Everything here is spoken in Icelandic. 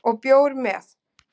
Og bjór með